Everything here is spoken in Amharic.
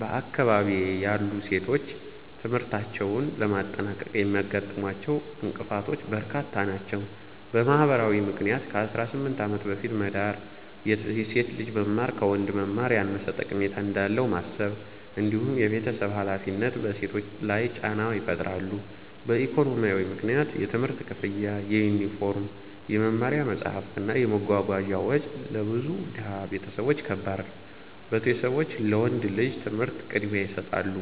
በአካባቢዬ ያሉ ሴቶች ትምህርታቸውን ለማጠናቀቅ የሚያጋጥሟቸው እንቅፋቶች በርካታ ናቸው። በማህበራዊ ምክንያት ከ18 ዓመት በፊት መዳር፣ የሴት ልጅ መማር ከወንድ መማር ያነሰ ጠቀሜታ እንዳለው ማሰብ፣ እንዲሁም የቤተሰብ ሃላፊነት በሴቶች ላይ ጫና ይፈጥራሉ። በኢኮኖሚያዊ ምክንያት የትምህርት ክፍያ፣ የዩኒፎርም፣ የመማሪያ መጽሐፍት እና የመጓጓዣ ወጪ ለብዙ ድሃ ቤተሰቦች ከባድ ነው፤ ቤተሰቦች ለወንድ ልጅ ትምህርት ቅድሚያ ይሰጣሉ።